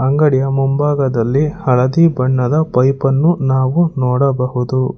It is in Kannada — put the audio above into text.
ಅಂಗಡಿಯ ಮುಂಭಾಗದಲ್ಲಿ ಹಳದಿ ಬಣ್ಣದ ಪೈಪ ನ್ನು ನಾವು ನೋಡಬಹುದು.